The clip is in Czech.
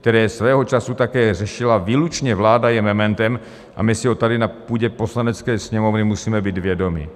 které svého času také řešila výlučně vláda, je mementem a my si ho tady na půdě Poslanecké sněmovny musíme být vědomi.